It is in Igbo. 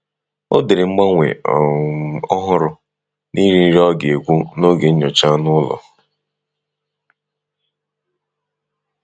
Ọ dere mgbanwe um ọhụrụ n'ịri nri ọga ekwụ n'oge nyocha anụ ụlọ.